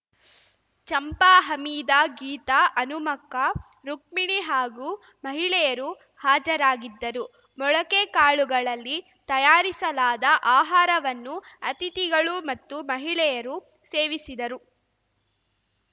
ಚಂಪಾ ಹಮೀದಾ ಗೀತಾ ಹನುಮಕ್ಕ ರುಕ್ಮಿಣಿ ಹಾಗೂ ಮಹಿಳೆಯರು ಹಾಜರಾಗಿದ್ದರು ಮೊಳಕೆ ಕಾಳುಗಳಲ್ಲಿ ತಯಾರಿಸಲಾದ ಆಹಾರವನ್ನು ಅತಿಥಿಗಳು ಮತ್ತು ಮಹಿಳೆಯರು ಸೇವಿಸಿದರು